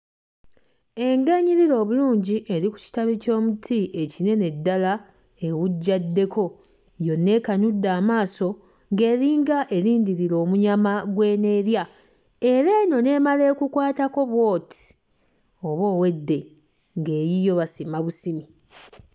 Engo enyirira obulungi eri ku kitabi ky'omuti ekinene ddala ewujjaddeko, yonna ekanudde amaaso ng'eringa erindirira omunya gw'eneerya era eno n'emala ekukwatako bw'oti, oba owedde ng'eyiyo basimba bisimi.